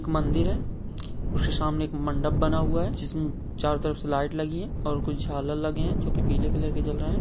एक मंदिर है उसके सामने एक मंडप बना हुवा है जिस मे चारों तरफ से लाइट लगी है और कुछ झालर लगे है जो के पीले कलर के जल रहे है।